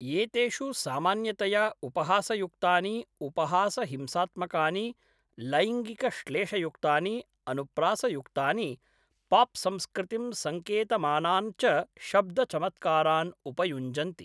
एतेषु सामान्यतया उपहासयुक्तानि, उपहासहिंसात्मकानि, लैङ्गिकश्लेषयुक्तानि, अनुप्रासयुक्तानि, पाप्संस्कृतिं सङ्केतमानान् च शब्दचमत्कारान् उपयुञ्जन्ति।